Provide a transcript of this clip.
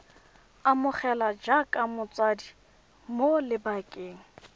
amogelwa jaaka motshabi mo lebakeng